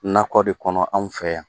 Nakɔ de kɔnɔ anw fɛ yan.